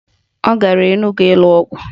Ọ gara Enugwu ịlụ ọgụ